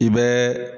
I bɛ